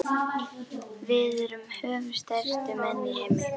Við erum höfuðstærstu menn í heimi.